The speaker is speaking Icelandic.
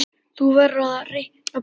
Þú verður að reikna Pétur.